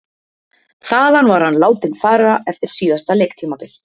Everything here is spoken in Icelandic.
Þaðan var hann látinn fara eftir síðasta leiktímabil.